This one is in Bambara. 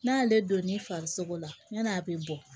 N'a y'ale donni farisoko la yan'a bɛ bɔ